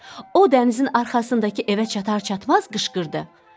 O dənizin arxasındakı evə çatar-çatmaz qışqırdı: ...